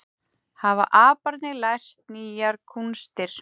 Hafa aparnir lært nýjar kúnstir